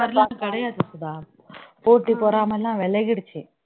மாதிரிலாம் கிடையாது சுதா போட்டி பொறாமை எல்லாம் விலகிடுச்சு